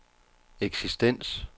eksistens